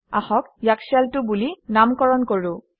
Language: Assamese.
আহক ইয়াক শেল 2 বুলি নামকৰণ কৰোঁ